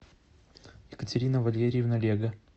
екатерина валерьевна лего